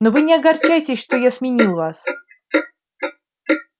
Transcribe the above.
но вы не огорчайтесь что я сменил вас